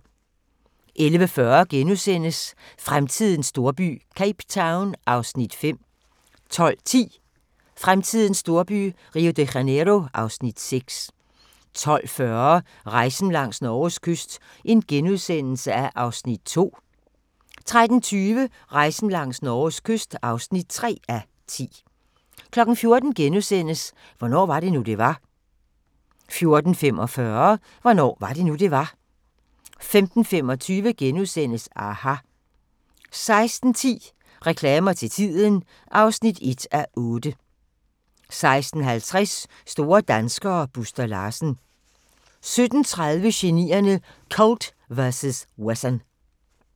11:40: Fremtidens storby – Cape Town (Afs. 5)* 12:10: Fremtidens storby – Rio de Janeiro (Afs. 6) 12:40: Rejsen langs Norges kyst (2:10)* 13:20: Rejsen langs Norges kyst (3:10) 14:00: Hvornår var det nu, det var? * 14:45: Hvornår var det nu, det var? 15:25: aHA! * 16:10: Reklamer til tiden (1:8) 16:50: Store danskere - Buster Larsen 17:30: Genierne: Colt vs. Wesson